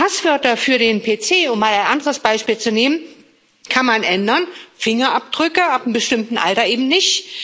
Passwörter für den PC um mal ein anderes Beispiel zu nehmen kann man ändern, Fingerabdrücke ab einem bestimmten Alter eben nicht.